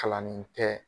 Kalanni tɛ